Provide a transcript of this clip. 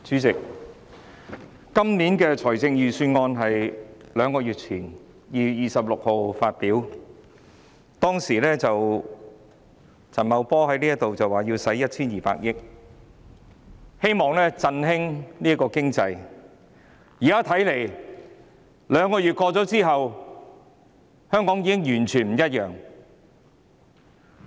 主席，今年的財政預算案是兩個月前，在2月26日發布的，當時陳茂波來到立法會，說要動用 1,200 億元，希望能夠振興經濟，但兩個月後，現時香港看來已經完全不一樣了。